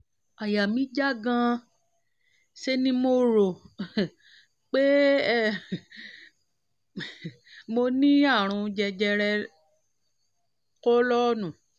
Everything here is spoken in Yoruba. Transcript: àyà mí já gan-an ṣe ni mo rò um pé mo um ní àrùn jẹjẹrẹ kólọ́ọ̀nù